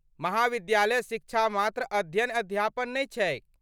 महाविद्यालय शिक्षा मात्र अध्ययन अध्यापन नहि छैक।